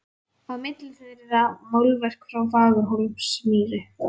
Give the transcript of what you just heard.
Á milli þeirra málverk frá Fagurhólsmýri.